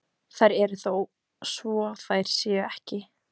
Þær eru þó svo þær séu ekki.